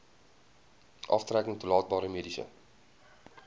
aftrekking toelaatbare mediese